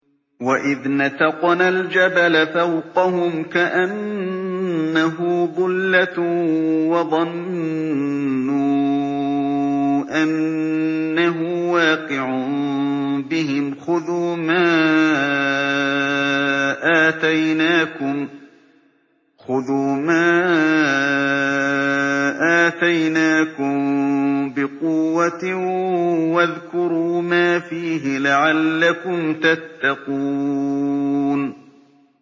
۞ وَإِذْ نَتَقْنَا الْجَبَلَ فَوْقَهُمْ كَأَنَّهُ ظُلَّةٌ وَظَنُّوا أَنَّهُ وَاقِعٌ بِهِمْ خُذُوا مَا آتَيْنَاكُم بِقُوَّةٍ وَاذْكُرُوا مَا فِيهِ لَعَلَّكُمْ تَتَّقُونَ